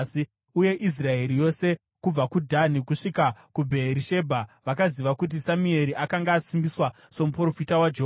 Uye Israeri yose kubva kuDhani kusvika kuBheerishebha vakaziva kuti Samueri akanga asimbiswa somuprofita waJehovha.